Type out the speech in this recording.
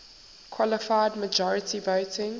qualified majority voting